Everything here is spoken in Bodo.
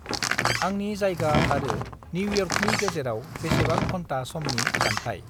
आंनि जायगा आरो निउयर्कनि गेजेराव बेसेबां घन्ता समनि जान्थाय।